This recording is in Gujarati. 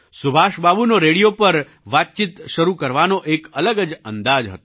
સુભાષબાબુનો રેડિયો પર વાતચીત શરૂ કરવાનો એક અલગ જ અંદાજ હતો